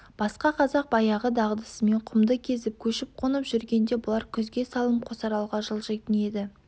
басқа қазақ баяғы дағдысымен құмды кезіп көшіп-қонып жүргенде бұлар күзге салым қосаралға жылжитын еді